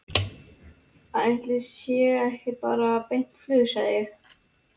Ætli sé ekki bara beint flug, segi ég.